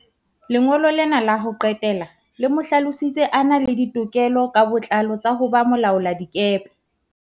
Lengolo lena la ho qetela le mo hlalositse a na le ditokelo ka botlalo tsa ho ba molaoladikepe.